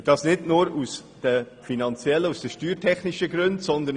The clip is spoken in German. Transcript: Dies nicht nur aus steuertechnischen Gründen.